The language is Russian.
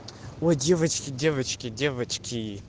ой девочки девочки девочки